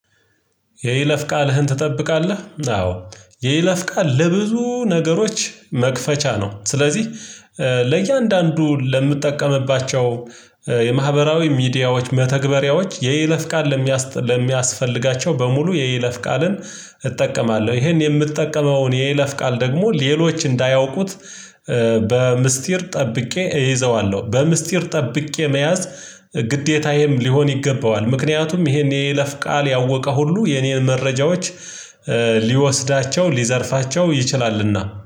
የይለፍ ቃልህን ትጠብቃለህ? አዎ። የይለፍ ቃል ለብዙ ነገሮች መክፈቻ ነው። ስለዚህ ለእያንዳንዱ ለምትጠቀምባቸው የማህበራዊ ሚዲያዎች መተግበሪያዎች የይለፍ ቃል ለሚያስፈልጋቸው በሙሉ የይለፍ ቃልን እጠቀማለሁ። ይሄን የምጠቀመውን የይለፍ ቃል ደግሞ ሌሎች እንዳያውቁት በምስጢር ጠብቄ እይዘዋለሁ። በምስጢር ጠብቄ መያዝ ግዴታዬም ሊሆን ይገባዋል። ምክንያቱም ይሄን የለፍ ቃል ያወቀ ሁሉ የኔን መረጃዎች ሊወስዳቸው ሊዘርፋቸው ይችላልና